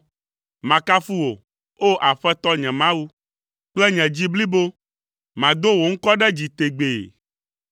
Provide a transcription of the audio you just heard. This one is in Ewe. Makafu wò, O Aƒetɔ, nye Mawu, kple nye dzi blibo. Mado wò ŋkɔ ɖe dzi tegbee,